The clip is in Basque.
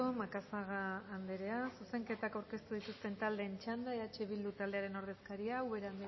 macazaga andrea zuzenketak aurkeztu dituzten taldeen txanda eh bildu taldearen ordezkaria ubera andrea